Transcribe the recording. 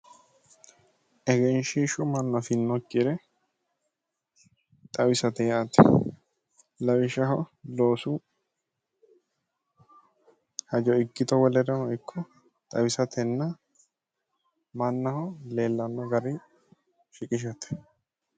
Egenshiishshu mannu afinokkire xawisate yaate lawishshahho loosu hajo ikkito wolereno ikko xawisatenna mannaho leellanno garinni sshiqishate